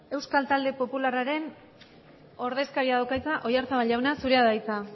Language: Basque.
euskal talde popularraren ordezkaria dauka hitza oyarzabal jauna zurea da hitza